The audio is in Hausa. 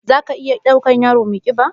Za ka iya ɗaukan yaro mai ƙiba?